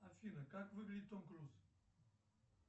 афина как выглядит том круз